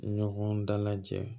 Ɲɔgɔn dalajɛ